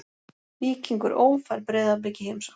Víkingur Ó fær Breiðablik í heimsókn.